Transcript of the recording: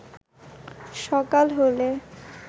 সকাল হলে